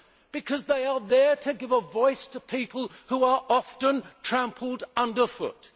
Because they are there to give a voice to people who are often trampled underfoot.